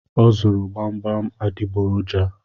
O zụrụ gbamgbam adịgboroja